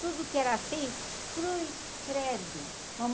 Tudo que era feio, cruz credo.